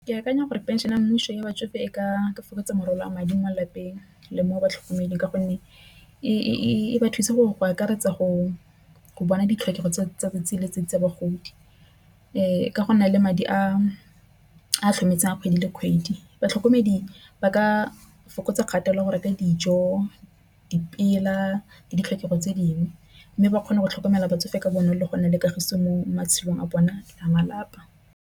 Ke akanya gore phenšene ya mmuso ya batsofe e ka fokotsa morwalo wa madi mo lelapeng le mo batlhokomedi. Ka gonne e ba thusa go akaretsa go bona ditlhokego tsa bagodi. Ka go nna le madi a a tlhokometseng kgwedi le kgwedi. Batlhokomedi ba ka fokotsa kgatelelo ya go reka dijo dipela le ditlhokego tse dingwe, mme ba kgone go tlhokomela batsofe ka bonolo le go na le kagiso mo matshelong a bone a malapa.